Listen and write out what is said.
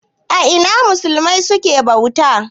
A ina musulmai suke bauta?